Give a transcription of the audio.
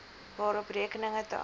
waarop rekeninge tans